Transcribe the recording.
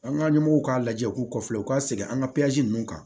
An ka ɲɛmɔgɔw k'a lajɛ u k'u kɔfɛ u ka segin an ka ninnu kan